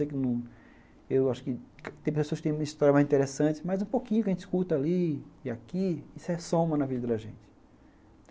Eu acho que tem pessoas que têm uma história mais interessante, mas um pouquinho que a gente escuta ali e aqui, isso é soma na vida da gente.